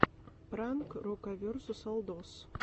пранк рокаверсусалдос